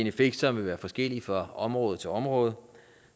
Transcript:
effekt som vil være forskellige fra område til område